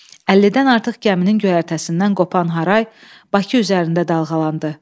50-dən artıq gəminin göyərtəsindən qopan haray Bakı üzərində dalğalandı.